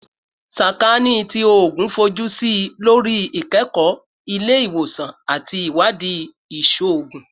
Sakaani ti Oogun fojusi lori ikẹkọ ile-iwosan ati iwadii iṣoogun